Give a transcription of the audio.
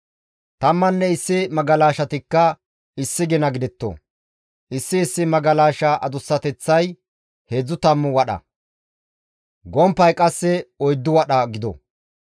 Tammanne issi magalashatikka issi gina gidetto; issi issi magalasha adussateththay heedzdzu tammu wadha, gomppay qasse oyddu wadha gido.